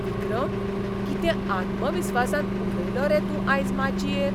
विक्रम, कितें आत्मविस्वासान उलयलो रे तूं आयज माचयेर!